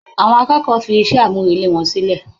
Àwọn akẹ́kọ̀ọ́ fi iṣẹ́-àmúrelé wọn sílẹ̀.